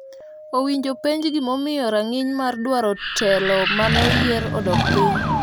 owinjo oponj gima omiyo rang'iny mar dwaro otelo mane oyier odok piny